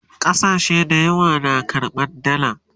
ƙasashe da yawa na karɓan dalla